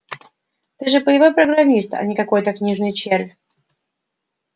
ты же боевой программист а не какой-то книжный червь